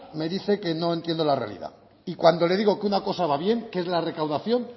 me dice que no entiendo la realidad y cuando le digo que una cosa va bien que es la recaudación